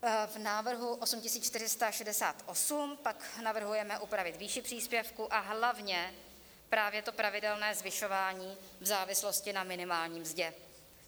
V návrhu 8468 pak navrhujeme upravit výši příspěvku a hlavně právě to pravidelné zvyšování v závislosti na minimální mzdě.